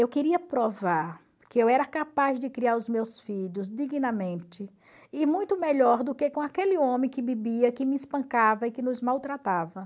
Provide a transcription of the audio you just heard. Eu queria provar que eu era capaz de criar os meus filhos dignamente e muito melhor do que com aquele homem que bebia, que me espancava e que nos maltratava.